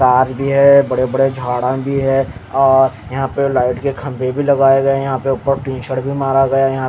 Car भी है बड़े बड़े झाड़ भी है और यहाँ पे लाइट के खम्बे भी लगाए गए है यहाँ पे मारा गया है।